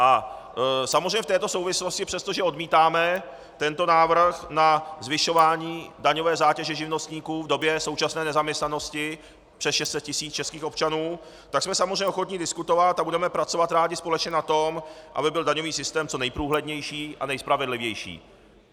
A samozřejmě v této souvislosti, přestože odmítáme tento návrh na zvyšování daňové zátěže živnostníků v době současné nezaměstnanosti přes 600 tisíc českých občanů, tak jsme samozřejmě ochotni diskutovat a budeme pracovat rádi společně na tom, aby byl daňový systém co nejprůhlednější a nejspravedlivější.